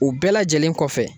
U bɛɛ lajɛlen kɔfɛ